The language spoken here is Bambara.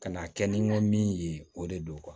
Ka na kɛ ni n ka min ye o de don